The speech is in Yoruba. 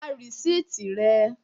Gba rìsíìtì rẹ!